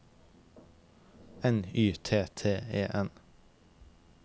N Y T T E N